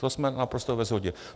To jsme naprosto ve shodě.